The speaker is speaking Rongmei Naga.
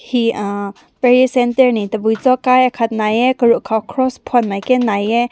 he uhh prayer center ne tu be zaoü khai aakat ne hae karu kaw cross phüm mai aakat ne nai hae.